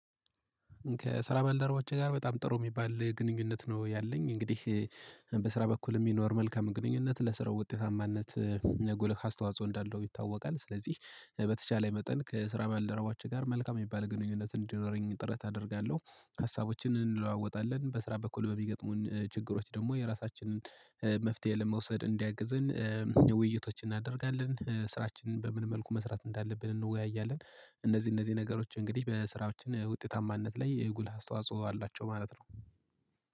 ከስራ ባልደረባቼ ጋር በጣም ጥሩ የሚባል ግንኙነት ነው ያለኝ እንግዲህ በስራ በኩል የሚኖር መልካም ግንኙነት ለስራው ውጤታማነት የጎለ አስተዋጽኦ እንዳለው ይታወቃል። ስለዚህ በተቻለ መጠን ከስራ ባልደረባቼ ጋር መልካም የሚባል ግንኙነት እንዲኖረኝ ጥረት አደርጋለሁ። ሀሳቦችን እንለዋወጣለን በስራ በኩል በሚገጥሙን ችግሮች ደግሞ የራሳችንን መፍትሄ ለመውሰድ እንዲያግዝን። ውይይቶችን እናደርጋለን ስራችንን በምን መልኩ መስራት እንዳለብን እንወያያለን። እነዚህ እነዚህ ነገሮች እንግዲህ በስራዎች ውጤታማነት ላይ የጉልህ አስተዋጽኦ አላቸው ማለት ነው